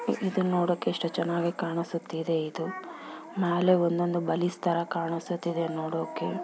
ಇದು ನೋಡೋಕೆ ಎಷ್ಟು ಚೆನ್ನಾಗಿ ಕಾಣಿಸುತ್ತಿದೆ ಇದು ಮ್ಯಾಲೆ ಒಂದೊಂದು ತರ ಕಾಣಿಸುತಿದೆ ನೋಡೋಕೆ